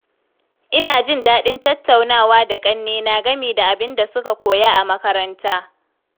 Ina jin daɗin tattaunawa da ƙannena game da abin da suka koya a makaranta.